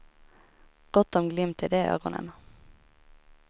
Gott om glimt i de ögonen.